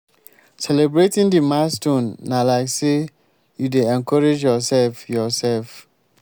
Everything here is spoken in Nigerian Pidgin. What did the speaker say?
celebrating the milestone na like sey you dey encourage your self your self